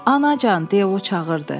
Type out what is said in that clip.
Anacan, de o çağırdı.